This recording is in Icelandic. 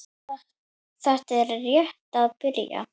Þetta er rétt að byrja